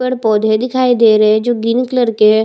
पेड़-पौधे दिखाई दे रहे है जो ग्रीन कलर के है।